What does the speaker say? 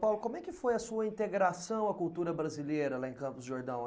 Paulo, como é que foi a sua integração à cultura brasileira lá em Campos do Jordão?